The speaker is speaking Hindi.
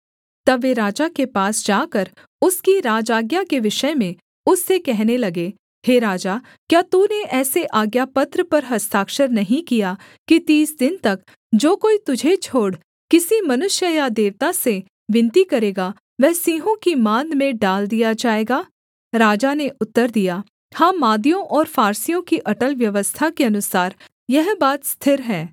तब वे राजा के पास जाकर उसकी राजआज्ञा के विषय में उससे कहने लगे हे राजा क्या तूने ऐसे आज्ञापत्र पर हस्ताक्षर नहीं किया कि तीस दिन तक जो कोई तुझे छोड़ किसी मनुष्य या देवता से विनती करेगा वह सिंहों की माँद में डाल दिया जाएगा राजा ने उत्तर दिया हाँ मादियों और फारसियों की अटल व्यवस्था के अनुसार यह बात स्थिर है